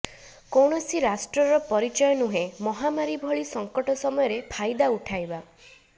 କୌଣସି ରାଷ୍ଟ୍ରର ପରିଚୟ ନୁହେଁ ମହାମାରୀ ଭଲି ସଙ୍କଟ ସମୟରେ ଫାଇଦା ଉଠାଇବା